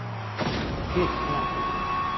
Keld Frank